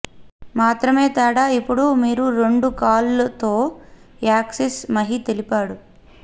మాత్రమే తేడా ఇప్పుడు మీరు రెండు కాళ్లు తో యాక్సెస్ మహి తెలపాలి